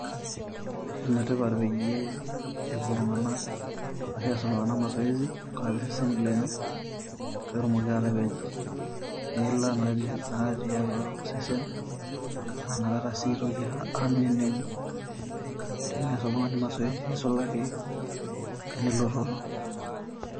Ene tipat peeyie, epuo iltung'ana aas iltung'ana [mazoezi] tenkaraki iseseni lenye pee etumoki atapej iila natii atua iseseni lenye, naa inakata sii neitoki aneneng'u ,teneas oltung'ani mazoezi neisulaki enelototo.